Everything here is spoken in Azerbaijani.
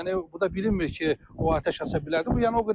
Yəni bu da bilinmir ki, o atəş aças bilərdi.